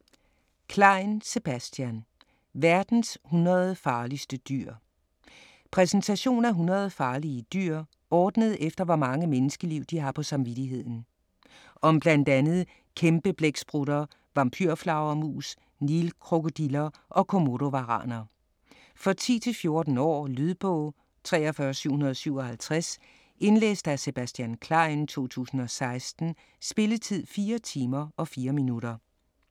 Klein, Sebastian: Verdens 100 farligste dyr Præsentation af 100 farlige dyr, ordnet efter hvor mange menneskeliv de har på samvittigheden. Om bl.a. kæmpeblæksprutter, vampyrflagermus, nilkrokodiller og komodovaraner. For 10-14 år. Lydbog 43757 Indlæst af Sebastian Klein, 2016. Spilletid: 4 timer, 4 minutter.